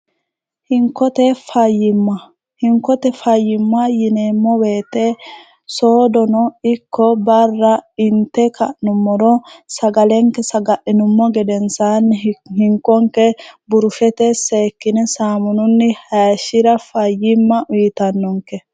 hinkote fayimma hinkote fayyimma yineemmo weete soodono ikko barra inte ka'nummoro sagalenke saga'inummo gedensaanni hinkonke burufete seekkine saamununni haishshira fayyimma wiitannonke